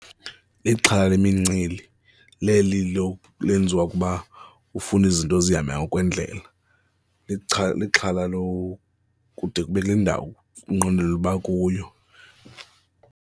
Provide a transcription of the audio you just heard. lxhala yimincili leli lenziwa ukuba ufuna izinto zihamba ngokwendlela lixhala lokude ube kule ndawo unqwenelela uba kuyo.